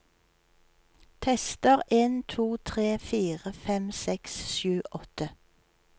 Tester en to tre fire fem seks sju åtte